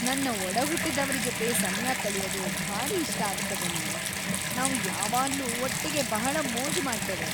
ನನ್ನ ಒಡಹುಟ್ಟಿದವ್ರ ಜೊತೆ ಸಮಯ ಕಳೆಯೋದು ಭಾರೀ ಇಷ್ಟ ಆಗ್ತದೆ ನಂಗೆ. ನಾವು ಯಾವಾಗ್ಲೂ ಒಟ್ಟಿಗೆ ಬಹಳ ಮೋಜು ಮಾಡ್ತೇವೆ.